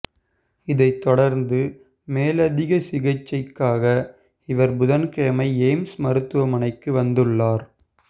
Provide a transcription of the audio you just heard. இதைத் தொடா்ந்து மேலதிக சிகிச்சைக்காக இவா் புதன்கிழமை எய்ம்ஸ் மருத்துவமனைக்கு வந்துள்ளாா்